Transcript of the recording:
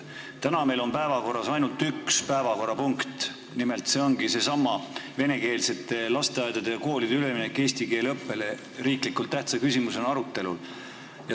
Täna on meil päevakorras ainult üks päevakorrapunkt, nimelt seesama venekeelsete lasteaedade ja koolide eestikeelsele õppele ülemineku arutelu riiklikult tähtsa küsimusena.